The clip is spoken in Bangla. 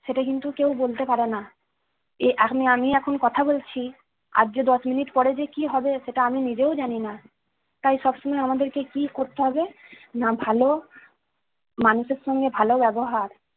সেটা কিন্তু কেউ বলতে পারেনা। এই আমি আমি এখন কথা বলছি, আর যে দশ মিনিট পর যে কি হবে সেটা আমি নিজেও জানিনা। তাই সবসময় আমাদেরকে কি করতে হবে, না ভালো, মানুষের সাথে ভালো ব্যবহার